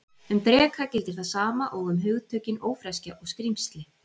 Um dreka gildir það sama og um hugtökin ófreskja og skrímsli.